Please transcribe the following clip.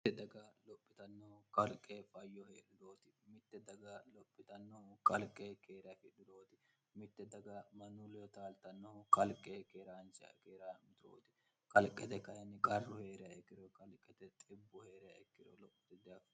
mite daga lophitannohu kalqe fayyoheedhurooti mitte daga lophitannohu qalqe keerafidhurooti mitte daga manu leotaaltannohu qalqe keeraancha keera miturooti kalqete kayinni qarru hee'reyaikkiro qalqete xibbu hee'reyaikkiro lo'o idiafo